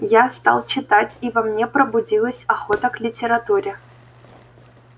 я стал читать и во мне пробудилась охота к литературе